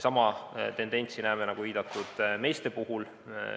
Sama tendentsi näeme, nagu viidatud, meeste puhul.